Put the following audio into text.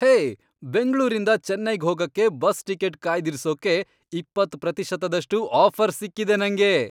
ಹೇ! ಬೆಂಗ್ಳೂರಿಂದ ಚೆನ್ನೈಗ್ ಹೋಗಕ್ಕೆ ಬಸ್ ಟಿಕೆಟ್ ಕಾಯ್ದಿರ್ಸೋಕೆ ಇಪ್ಪತ್ತ್ ಪ್ರತಿಶತದಷ್ಟು ಆಫರ್ ಸಿಕ್ಕಿದೆ ನಂಗೆ!